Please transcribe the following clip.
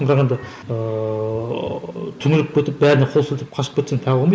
бірақ енді ыыы түнеріп кетіп бәріне қол сілтеп қашып кетсең тағы болмайды